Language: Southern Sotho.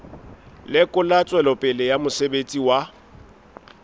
lekola tswelopele ya mosebetsi wa